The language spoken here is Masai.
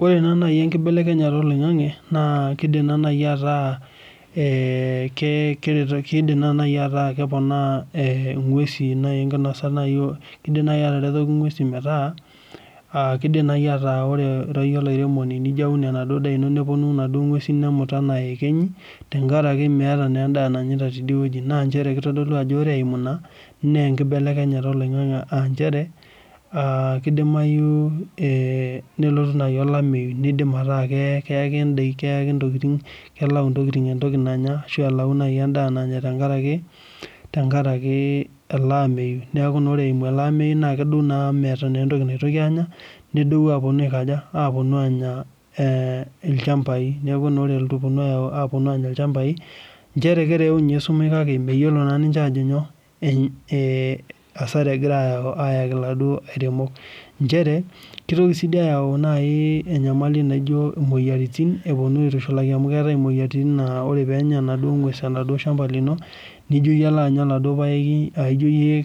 Ore naa naai enkibelekenyata oloing'ang'e naa kiidim naa naai ataa keponaa ng'wesi naai enkinosa, kiidim naai ataretoki ng'wesi metaa kiidim naai ataa ore akeyie olairemoni eniun enaduo daa ino nepwonu inaduo ng'wesi nemut enaa iyekenyi tenkaraki meeta naa endaa nanyita tidiwueji naa nchere kitodolu ajo ore eimu ina naa enkibelekenyata oloing'ang'e aa nchere keidimayu nelotu naai olameyu nidim ataa keyaki ntokiting, kelau ntokiting entoki nanya ashu elau naai endaa nanya tenkaraki, tenkaraki ele ameyu. Neeku naa ore eimu ele ameyu naa kedou naa amu meeta entoki naitoki aanya, nedou apwonu aiko aja, apwonu aanya ilchambai neeku naa ore epwonu aanya ilchambai nchere kereu ninche esumash kake meyiolo ninche aajo nyoo, hasara egira aayau ayaki iladuo airemok. Nchere, kitoki sii duo ayau naai enyamali naijo imwoyiaritin epwonu aitushulaki amu keetae imwoyiaritin naa ore pee enya enaduo ng'wes shamba lino nijoyie alo anya oladwo paeki aa ijoyie